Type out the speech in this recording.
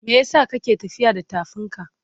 Me yasa ka ke tafiya da tafinka?